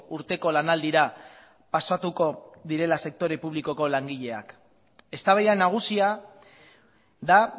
urteko lanaldira pasatuko direla sektore publikoko langileak eztabaida nagusia da